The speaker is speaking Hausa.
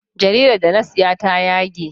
Jaridar da na siya ta yage.